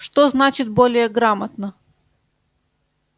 что значит более грамотно